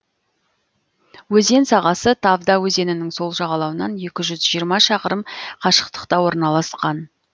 өзен сағасы тавда өзенінің сол жағалауынан екі жүз жиырма шақырым қашықтықта орналасқан